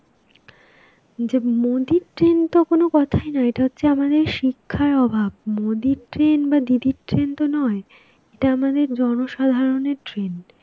যে মোদির train তো কোনো কথাই নয়. এটা হচ্ছে আমাদের শিক্ষার অভাব, মোদীর train বা দিদির train তো নয়, এটার আমাদের জনসাধারণের train.